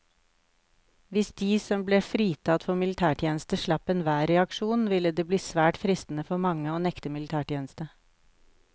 Hvis de som ble fritatt for militærtjeneste slapp enhver reaksjon, ville det bli svært fristende for mange å nekte militætjeneste.